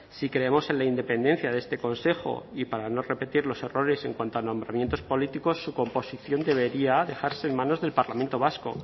si creemos en la independencia de este consejo y para no repetir los errores en cuanto a nombramientos políticos su composición debería dejarse en manos del parlamento vasco